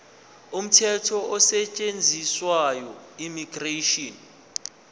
umthetho osetshenziswayo immigration